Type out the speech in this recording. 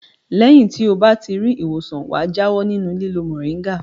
Lẹ́yìn tí ó bá ti rí ìwòsàn wà jáwọ́ nínú lílo mòríngà.